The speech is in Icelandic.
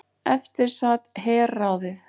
Eftir sat herráðið.